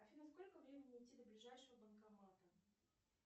афина сколько времени идти до ближайшего банкомата